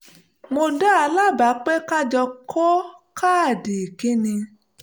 mo dá a lábàá pé ká jọ kọ káàdì ìkíni